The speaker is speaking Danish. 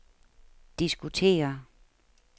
diskutere